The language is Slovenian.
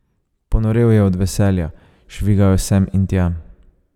Ponorel je od veselja, švigal je sem in tja.